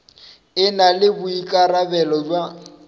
e na le boikarabelo bja